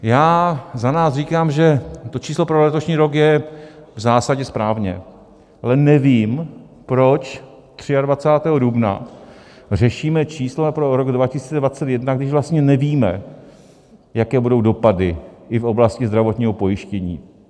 Já za nás říkám, že to číslo pro letošní rok je v zásadě správně, ale nevím, proč 23. dubna řešíme čísla pro rok 2021, když vlastně nevíme, jaké budou dopady i v oblasti zdravotního pojištění.